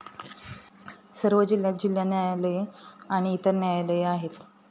सर्व जिल्ह्यांत जिल्हा न्यायालये आणि इतर न्यायालये आहेत.